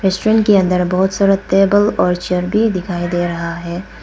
Kitchen के अंदर बहोत सारा टेबल और चेयर भी दिखाई दे रहा है।